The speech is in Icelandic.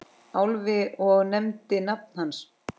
Álfi og nefndi nafn hans.